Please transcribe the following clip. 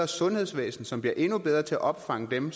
sundhedsvæsen som bliver endnu bedre til at opfange dem